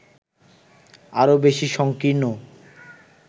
আরও বেশি সংকীর্ণ